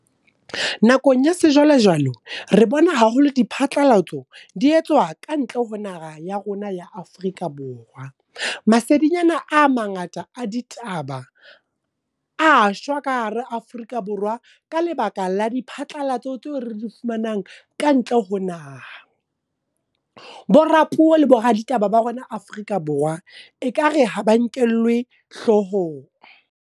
Nakong ya se jwale jwale, re bona haholo di phatlalatso, di etswa ka ntle ho naha ya rona ya Afrika Borwa. Masedinyana a mangata a ditaba, a shwa ka hara Afrika Borwa ka lebaka la di phatlalatso tseo re di fumanang ka ntle ho naha. Bo rapuo le bo raditaba ba rona Afrika Borwa e kare ha ba nkellwe hloohong.